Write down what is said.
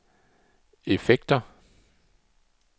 effekter